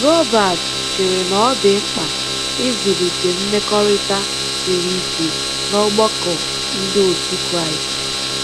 Robert chere na ọ dị mkpa ịzụlite mmekọrịta siri ike n'ọgbakọ ndị otu Kraịst.